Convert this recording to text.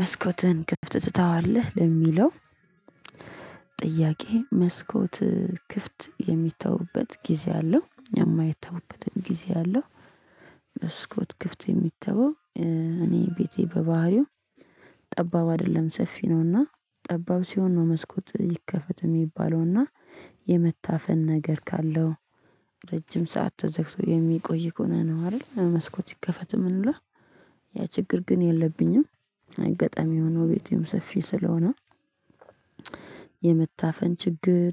መስኮትን ክፍት ትተዋለህ ለሚለው? ጥያቄ መስኮት ክፍት የሚተውበት ጊዜ አለው የማየተውበትም ጊዜ አለው። መስኮት ክፍት የሚተወው። እኔ ቤቴ በባህሪው ጠባብ አይደለም ሰፊ ነውና ጠባብ ሲሆን ነው መስኮት ይከፈት የሚባለውና የመታፈን ነገር ካለው ረጅም ሰዓት ተዘግቶ የሚቆይ ከሆነ ነው አይደል መስኮት ይከፈት የምንለው። ያ ችግር ግን የለብኝም። አገጣሚ ሆኖ ቤቴም ሰፊ ስለሆነ። የመታፈን ችግር